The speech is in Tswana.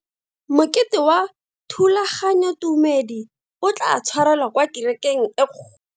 Mokete wa thulaganyotumedi o tla tshwarelwa kwa kerekeng e kgolo.